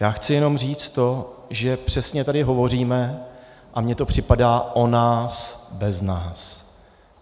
Já chci jenom říct to, že přesně tady hovoříme, a mně to připadá, o nás bez nás.